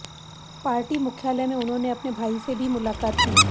party मुख्यालय में उन्होंने अपने भाई से भी मुलाकात की